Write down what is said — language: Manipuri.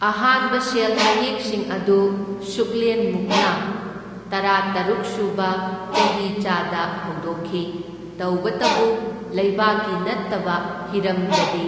ꯑꯍꯥꯟꯕ ꯁꯦꯜ ꯃꯌꯦꯛꯁꯤꯡ ꯑꯗꯨ ꯁꯨꯛꯂꯦꯟꯃꯨꯡꯅ ꯇꯔꯥꯇꯔꯨꯛ ꯁꯨꯕ ꯆꯍꯤꯆꯥꯗ ꯍꯧꯗꯣꯛꯈꯤ, ꯇꯧꯕꯇꯕꯨ ꯂꯩꯕꯥꯛꯀꯤ ꯅꯠꯇꯕ ꯍꯤꯔꯝꯗꯗꯤ